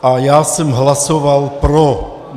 A já jsem hlasoval pro.